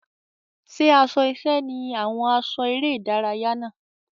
Ṣé aṣọ iṣẹ́ ni àwọn aṣọ eré-ìdárayá náà?